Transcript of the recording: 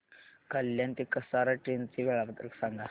कल्याण ते कसारा ट्रेन चे वेळापत्रक सांगा